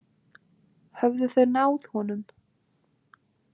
Höfðu þau náð honum?